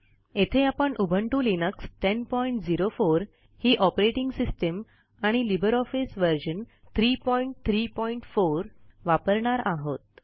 येथे आपण Ubuntu Linux 1004 ही ऑपरेटिंग सिस्टिम आणि लिबर ऑफिस व्हर्जन 334 वापरणार आहोत